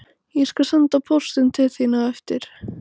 Ég skal senda póstinn til þín á eftir